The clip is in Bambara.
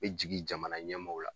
E jigi jamana ɲɛmaaw la.